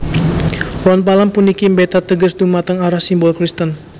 Ron palem puniki mbeta teges dhumateng arah simbol Kristen